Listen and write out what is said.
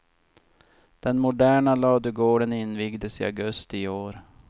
Den moderna ladugården invigdes i augusti i år.